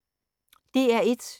DR1